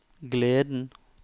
gleden